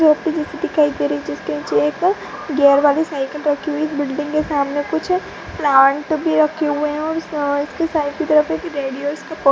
दिखाई दे रही जिसके गेयर वाली साइकल रखी हुई बिल्डिंग के सामने कुछ प्लांट भी रखे हुए हैं। --